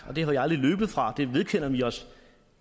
det er vi aldrig løbet fra det vedkender vi os